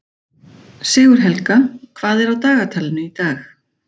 Sigurhelga, hvað er á dagatalinu í dag?